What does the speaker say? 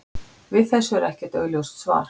Við þessu er ekkert augljóst svar.